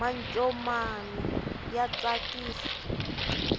mancomani ya tsakisa